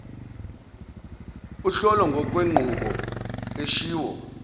uhlolo ngokwenqubo eshiwo